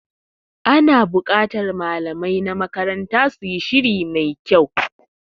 Ana bukatar malamai na makaranta su yi shiri ma su kyau.